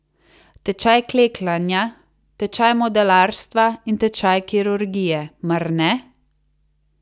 Tečaj klekljanja, tečaj modelarstva in tečaj kirurgije, mar ne?